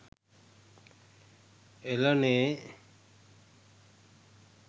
එලනේ